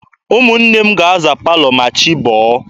Ụmụnne m ga-aza palọ ma chi bọọ